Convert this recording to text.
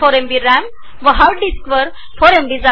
RAM 68एमबी RAM आणि hard डिस्कची ४ एमबी